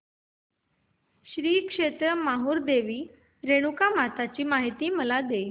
श्री क्षेत्र माहूर देवी रेणुकामाता ची मला माहिती दे